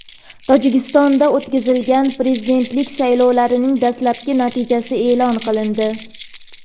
Tojikistonda o‘tkazilgan prezidentlik saylovlarining dastlabki natijasi e’lon qilindi.